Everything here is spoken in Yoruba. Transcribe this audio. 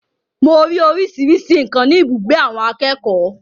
Mo ri oríṣiríṣi nǹkan ni ibùgbé àwọn akẹ́kọ̀ọ́.